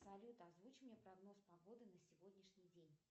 салют озвучь мне прогноз погоды на сегодняшний день